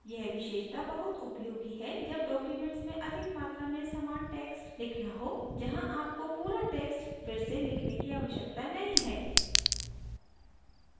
यह विशेषता बहुत उपयोगी है जब documents में अधिक मात्रा में समान text लिखना हो जहाँ आपको पूरा text फिर से लिखने की आवश्यकता नहीं है